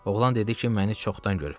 Oğlan dedi ki, məni çoxdan görüb.